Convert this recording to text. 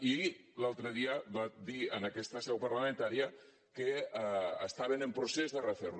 i l’altre dia va dir en aquesta seu parlamentària que estaven en procés de refer lo